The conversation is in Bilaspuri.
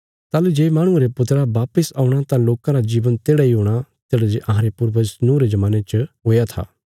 ताहली जे माहणुये रे पुत्रा वापस औणा तां लोकां रा जीवन तेढ़ा इ हूणा तेढ़ा जे अहांरे पूर्वज नूँह रे जमाने च हुया था